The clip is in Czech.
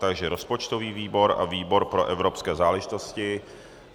Takže rozpočtový výbor a výbor pro evropské záležitosti.